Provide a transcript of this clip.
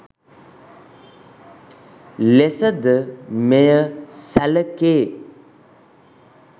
ලෙස ද මෙය සැලකේ